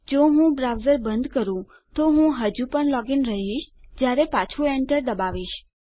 જો હું બ્રાઉઝર બંધ કરું તો હું હજુ પણ લોગ ઇન રહીશ જયારે પાછું એન્ટર દબાવીશ